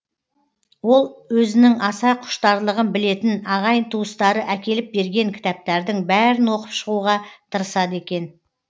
ол өзінің аса құштарлығын білетін ағайын туыстары әкеліп берген кітаптардың бәрін оқып шығуға тырысады екен